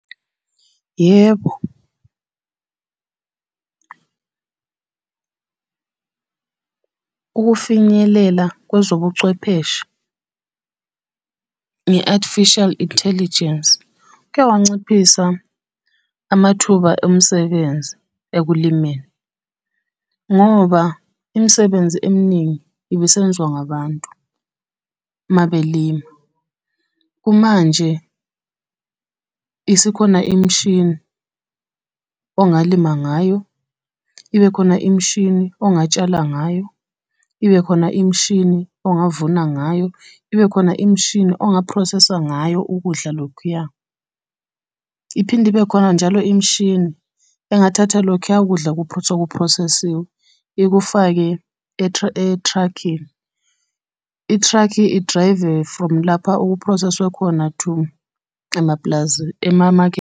Yebo, ukufinyelela kwezobuchwepheshe, nge-Artificial Intelligence, kuyawanciphisa amathuba omsebenzi ekulimeni, ngoba imisebenzi eminingi ibisenziwa ngabantu, uma belima. Kumanje isikhona imishini, ongalima ngayo, ibe khona imishini ongatshala ngayo, ibe khona imishini ongavuna ngayo, ibe khona imishini ongaphrosesa ngayo ukudla lokhuya. Iphinde ibe khona njalo imishini engathatha lokhuya kudla sekuphrosesiwe ikufake e-truck-ini. I-truck idrayive from lapho okuphroseswe khona to emapulazini .